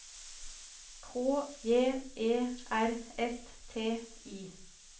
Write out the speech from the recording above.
K J E R S T I